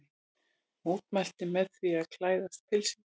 Mótmælti með því að klæðast pilsi